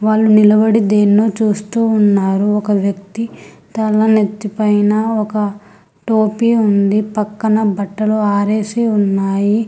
వాళ్ళు నిలబడి దేన్నో చూస్తూ ఉన్నారు ఒక వ్యక్తి తల నెత్తి పైన ఒక టోపీ ఉంది పక్కన బట్టలు ఆరేసి ఉన్నాయి.